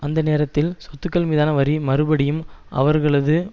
அந்த நேரத்தில் சொத்துக்கள் மீதான வரி மறுபடியும் அவர்களது